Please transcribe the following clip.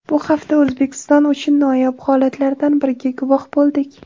Bu hafta O‘zbekiston uchun noyob holatlardan biriga guvoh bo‘ldik.